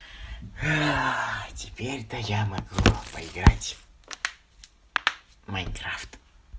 теперь то я могу поиграть в майнкрафт